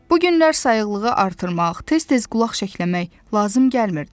Bu günlər sayıqlığı artırmaq, tez-tez qulaq şəkləmək lazım gəlmirdi.